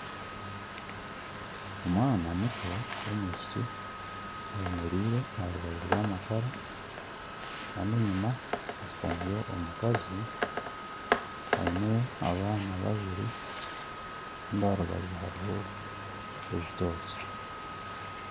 Omwana muto w'omwishiki ayemereire aha rubaju rw'amakara Kandi enyima hashutamiyo omukazi aine abaana babiri Kandi aha rubaju hariho ebitookye.